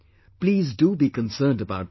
Please do be concerned about this